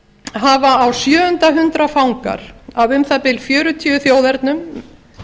hafa á sjöunda hundrað fangar af um það bil fjörutíu þjóðernum